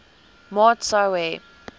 maat sou hê